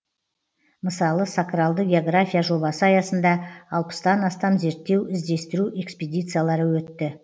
мысалы сакралды география жобасы аясында алпыстан астам зерттеу іздестіру экспедициялары өтті